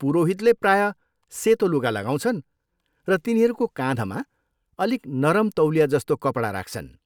पुरोहितले प्रायः सेतो लुगा लगाउँछन् र तिनीहरूको काँधमा अलिक नरम तौलिया जस्तो कपडा राख्छन्।